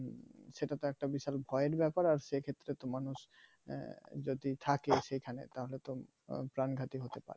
সেটা তো একটা বিশাল ভয়ের ব্যাপার আর সেক্ষেত্রে তো মানুষ যদি থাকে সেখানে তাহলে তো প্রাণঘাতি হতে